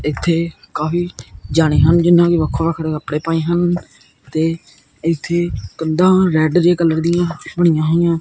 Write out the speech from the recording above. ਇੱਥੇ ਕਾਫੀ ਜਾਣੇ ਹਨ ਜਿਹਨਾਂ ਨੇ ਵੱਖੋਂ ਵੱਖੜੇ ਕੱਪੜੇ ਪਾਏ ਹਨ ਤੇ ਇੱਥੇ ਕੰਧਾਂ ਰੈੱਡ ਜੇਹੇ ਕਲਰ ਦਿਆਂ ਬਣਿਆ ਹੋਈਆਂ।